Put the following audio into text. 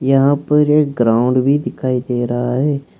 यहां पर एक ग्राउंड भी दिखाई दे रहा हैं।